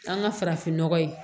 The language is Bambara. An ka farafinnɔgɔ in